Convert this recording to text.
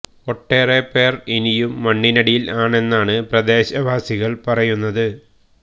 ഒട്ടേറെ പേര് ഇനിയും മണ്ണിനടിയില് ആണെന്നാണ് പ്രദേശ വാസികള് പറയുന്നത്